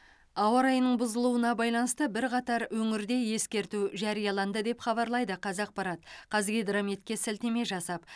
ауа райының бұзылуына байланысты бірқатар өңірде ескерту жарияланды деп хабарлайды қазақпарат қазгидрометке сілтеме жасап